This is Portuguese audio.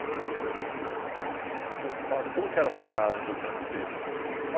Eu queria que você falasse como era a sua casa quando o senhor era pequeno.